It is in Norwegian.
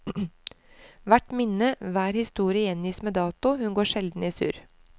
Hvert minne, hver historie gjengis med dato, hun går sjelden i surr.